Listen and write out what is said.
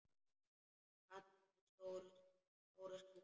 Kall með stóra skúffu.